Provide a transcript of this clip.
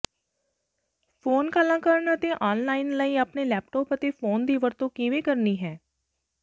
phone ਕਾਲਾਂ ਕਰਨ ਅਤੇ ਆਨਲਾਇਨ ਲਈ ਆਪਣੇ ਲੈਪਟਾਪ ਅਤੇ ਫੋਨ ਦੀ ਵਰਤੋਂ ਕਿਵੇਂ ਕਰਨੀ ਹੈ